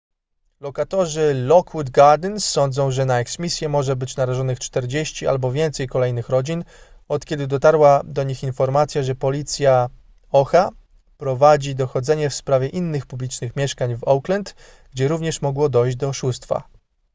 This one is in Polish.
lokatorzy lockwood gardens sądzą że na eksmisję może być narażonych 40 albo więcej kolejnych rodzin od kiedy dotarła do nich informacja że policja oha prowadzi dochodzenie w sprawie innych publicznych mieszkań w oakland gdzie również mogło dojść do oszustwa